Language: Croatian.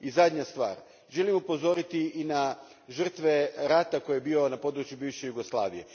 I zadnja stvar, želim upozoriti i na žtrve rata koji je bio na području bivše Jugoslavije.